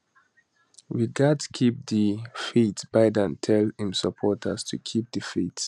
we gatz keep di faithbiden tell im supporters to keep di faith